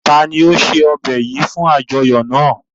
Ta ni o ṣe ọbẹ yìí fún àjọyọ̀ náà?